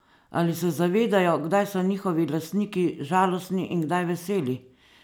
Ali se zavedajo, kdaj so njihovi lastniki žalostni in kdaj veseli?